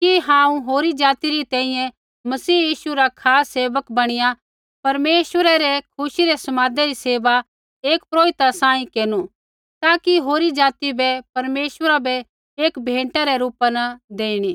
कि हांऊँ होरी ज़ाति री तैंईंयैं मसीह यीशु रा खास सेवक बणीया परमेश्वरै रै खुशी रै समादै री सेवा एक पुरोहिता सांही केरनु ताकि होरी ज़ाति बै परमेश्वरा बै एक भेंटा रै रूपा न देईणी